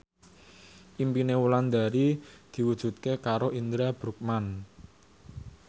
impine Wulandari diwujudke karo Indra Bruggman